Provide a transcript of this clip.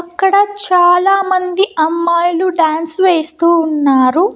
అక్కడ చాలామంది అమ్మాయిలు డాన్స్ వేస్తూ ఉన్నారు.